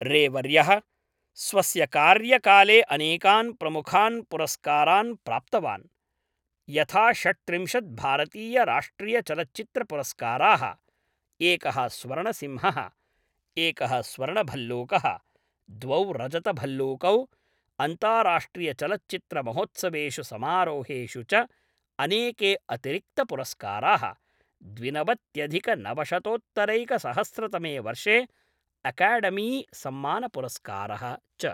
रे वर्यः स्वस्य कार्यकाले अनेकान् प्रमुखान् पुरस्कारान् प्राप्तवान्, यथा षड्त्रिंशत् भारतीयराष्ट्रियचलच्चित्रपुरस्काराः, एकः स्वर्णसिंहः, एकः स्वर्णभल्लूकः, द्वौ रजतभल्लूकौ, अन्ताराष्ट्रियचलच्चित्रमहोत्सवेषु समारोहेषु च अनेके अतिरिक्तपुरस्काराः, द्विनवत्यधिकनवशतोत्तरैकसहस्रतमे वर्षे अकाडेमीसम्मानपुरस्कारः च।